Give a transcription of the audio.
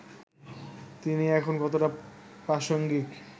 তিনি এখন কতটা প্রাসঙ্গিক